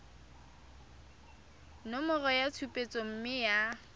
nomoro ya tshupetso mme ya